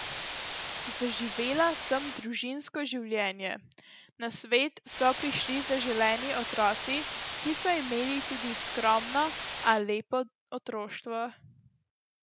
Zaživela sem družinsko življenje, na svet so prišli zaželeni otroci, ki so imeli tudi skromno, a lepo otroštvo.